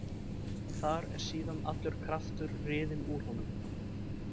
Þar er síðan allur kraftur riðinn úr honum.